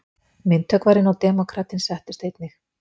Myndhöggvarinn og demókratinn settust einnig.